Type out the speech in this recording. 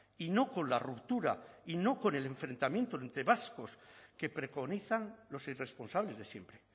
y no con la ruptura y no con el enfrentamiento entre vascos que preconizan los irresponsables de siempre